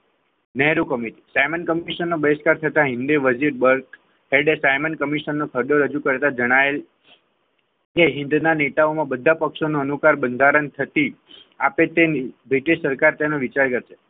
Nehru committee Simon commission નો બહિષ્કાર થતા હિન્દી મસ્જિદ વર્ગ સાયમન કમિશનન નો હજુ કરતા જણાયા તે હિંદના નેતાઓ બધા પક્ષોમાં નો અનુકાર બંધારણ થતી આપે તે બ્રિટિશ સરકાર તેનો વિચાર કરતી.